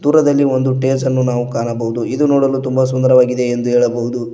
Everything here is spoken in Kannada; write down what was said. ದೂರದಲ್ಲಿ ಒಂದು ಟೇಜನ್ನು ನಾವು ಕಾಣಬಹುದು ಇದು ನೋಡಲು ತುಂಬ ಸುಂದರವಾಗಿದೆ ಎಂದು ಹೇಳಬಹುದು.